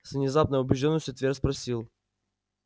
с внезапной убеждённостью твер спросил